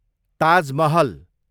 Taj Mahal